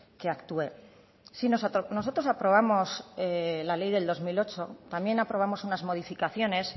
que actúe nosotros aprobamos la ley del dos mil ocho también aprobamos unas modificaciones